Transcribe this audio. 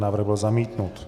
Návrh byl zamítnut.